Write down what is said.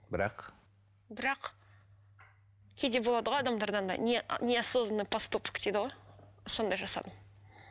бірақ бірақ кейде болады ғой адамдарда андай неосознонный поступок дейді ғой сондай жасадым